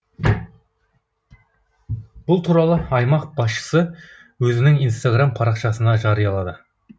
бұл туралы аймақ басшысы өзінің инстаграм парақшасында жариялады